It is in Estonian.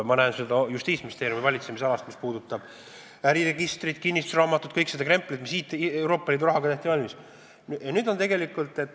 Ma näen seda Justiitsministeeriumi valitsemisalas näiteks äriregistri ja kinnistusraamatu puhul – kogu selle krempli puhul, mis Euroopa Liidu rahaga valmis tehti.